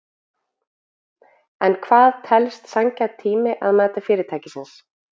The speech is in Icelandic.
En hvað telst sanngjarn tími að mati fyrirtækisins?